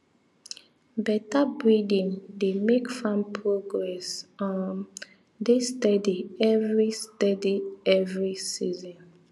better breeding dey make farm progress um dey steady every steady every season